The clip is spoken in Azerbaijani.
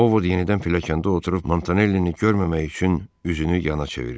Ovod yenidən pilləkəndə oturub Montanellini görməmək üçün üzünü yana çevirdi.